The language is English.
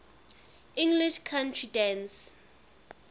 english country dance